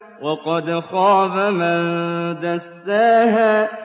وَقَدْ خَابَ مَن دَسَّاهَا